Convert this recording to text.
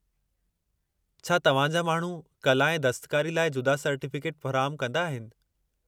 छा तव्हां जा माण्हू कला ऐं दस्तकारी लाइ जुदा सर्टीफ़िकेट फ़राहमु कंदा आहिनि?